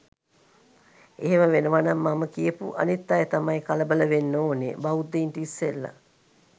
එහෙම වෙනවනම් මම කියපු අනිත් අය තමයි කලබල වෙන්න ඕනේ බෞද්ධයින්ට ඉස්සෙල්ලා.